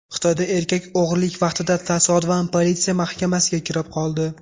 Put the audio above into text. Xitoyda erkak o‘g‘rilik vaqtida tasodifan politsiya mahkamasiga kirib qoldi .